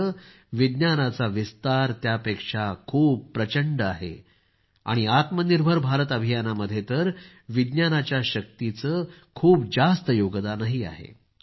मात्र विज्ञानाचा विस्तार त्यापेक्षा खूप प्रचंड आहे आणि आत्मनिर्भर भारत अभियान मध्ये तर विज्ञानाच्या शक्तीचे खूप जास्त योगदानही आहे